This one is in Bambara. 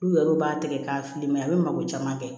N'u yɛrɛw b'a tigɛ k'a fili mɛ a bɛ mako caman kɛ